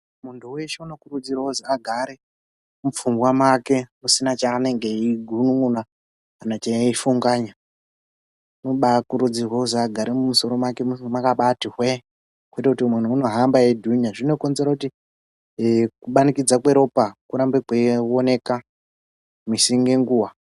Muntu weshe unokurudzirwa kuzwi agare mupfungwa make musina chaanenge achigunun'una kana eifunganya zvinobaakurudzirwa kuzi agare musoro make mwakabaati hwee kwete kuti muntu unohamba eidhunya zvinokonzera kuti kumanikidzwa kweropa kurambe kuchioneka musi nenguwa.